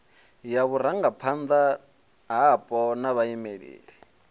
ya vhurangaphanda hapo na vhaimeleli